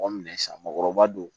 Mɔgɔ minɛ san mɔgɔkɔrɔba don